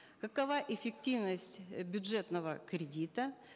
какова эффективность бюджетного кредита